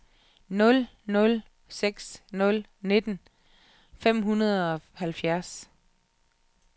nul nul seks nul nitten fem hundrede og halvfjerds